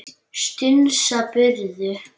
Strunsa burtu.